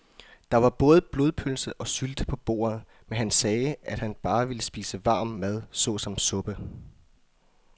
Der var både blodpølse og sylte på bordet, men han sagde, at han bare ville spise varm mad såsom suppe.